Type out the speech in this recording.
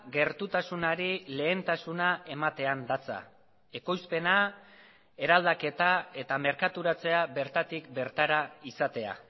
gertutasunari lehentasuna ematean datza ekoizpena eraldaketa eta merkaturatzea bertatik bertara izatea